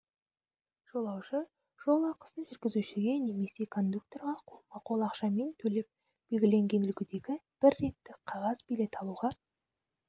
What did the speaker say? жолаушы жолақысын жүргізушіге немесе кондукторға қолма-қол ақшамен төлеп белгіленген үлгідегі бір реттік қағаз билет алуға